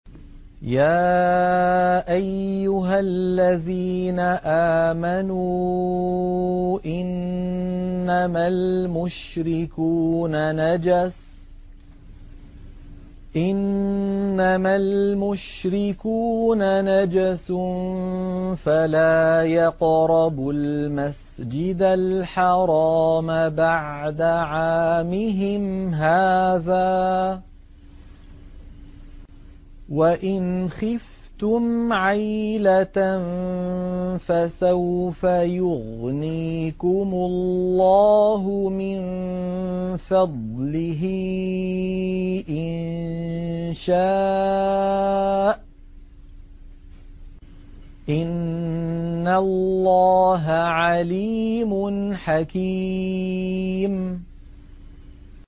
يَا أَيُّهَا الَّذِينَ آمَنُوا إِنَّمَا الْمُشْرِكُونَ نَجَسٌ فَلَا يَقْرَبُوا الْمَسْجِدَ الْحَرَامَ بَعْدَ عَامِهِمْ هَٰذَا ۚ وَإِنْ خِفْتُمْ عَيْلَةً فَسَوْفَ يُغْنِيكُمُ اللَّهُ مِن فَضْلِهِ إِن شَاءَ ۚ إِنَّ اللَّهَ عَلِيمٌ حَكِيمٌ